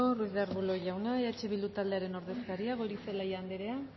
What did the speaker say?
ruiz de arbulo jauna eh bildu taldearen ordezkaria goirizelaia andrea